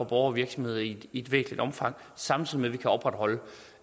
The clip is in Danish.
og virksomheder i i et væsentligt omfang samtidig vi kan opretholde